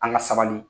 An ka sabali